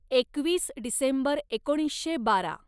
एकवीस डिसेंबर एकोणीसशे बारा